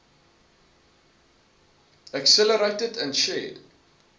accelerated and shared